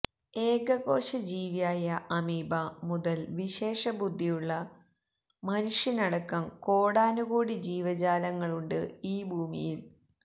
ഏകകോശ ജീവിയായ അമീബ മുതല് വിശേഷബുദ്ധിയുള്ള മനുഷ്യനടക്കം കോടാനുകോടി ജീവജാലങ്ങളുണ്ട് ഈ ഭൂമിയില്